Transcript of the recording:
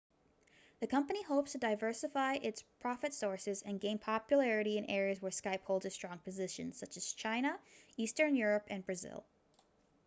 the company hopes to diversify its profit sources and gain popularity in areas where skype holds a strong position such as china eastern europe and brazil